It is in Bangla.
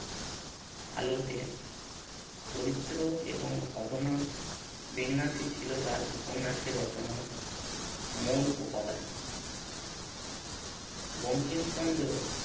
আলোতে চরিত্র এবং ঘটনা বিন্যাসই ছিল তার উপন্যাসের রচনার মূল উপাদান বঙ্কিমচন্দ্র